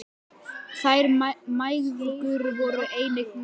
Þær mæðgur voru einnig með.